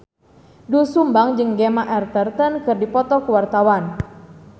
Doel Sumbang jeung Gemma Arterton keur dipoto ku wartawan